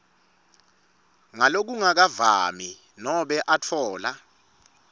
ngalokungakavami nobe atfola